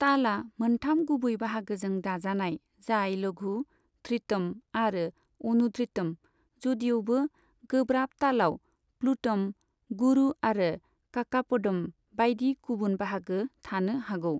तालआ मोनथाम गुबै बाहागोजों दाजानाय, जाय लघु, धृतम आरो अनुधृतम, जदिउबो गोब्राब तालआव प्लूटम, गुरु आरो काकापदम बायदि गुबुन बाहागो थानो हागौ।